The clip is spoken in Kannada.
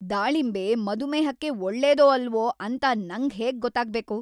ದಾಳಿಂಬೆ ಮಧುಮೇಹಕ್ಕೆ ಒಳ್ಳೇದೋ ಅಲ್ವೋ ಅಂತ ನಂಗ್‌ ಹೇಗ್‌ ಗೊತ್ತಾಗ್ಬೇಕು?!